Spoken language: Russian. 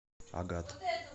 агат